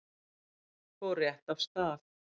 Fór rétt af stað.